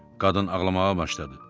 Qadın ağlamağa başladı.